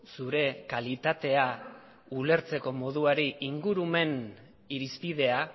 zure kalitatea ulertzeko moduari ingurumen irizpidea